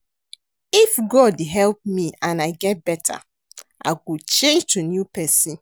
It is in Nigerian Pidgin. If God help me and I get beta I go change to new person